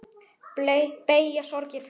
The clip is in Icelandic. Beygja sorgir flesta.